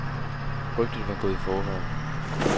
Rygtet var gået i forvejen.